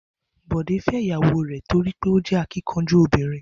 Bò̩dé fé̩ ìyàwó rè̩ torí pé ó jé̩ akínkanjú obìnrin